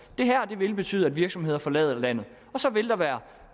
det her vil betyde at virksomheder forlader landet og så vil der være